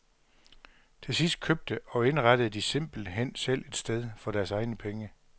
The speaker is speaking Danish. Til sidst købte og indrettede de simpelt hen selv et sted for deres egne penge.